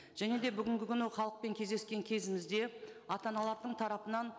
және де бүгінгі күні халықпен кездескен кезімізде ата аналардың тарапынан